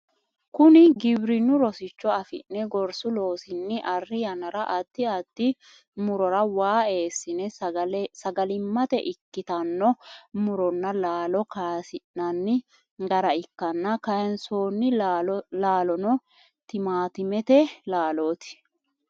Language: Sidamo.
Kunni giwirinunni rosicho afi'ne gorsu loosinni Ari yannara addi addi murora waa eesine sagalimate ikitano muronna laallo kayisi'nanni gara ikanna kayinsoonni laalono timaatimete laalooti.